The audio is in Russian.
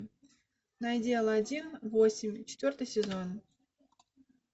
найди алладин восемь четвертый сезон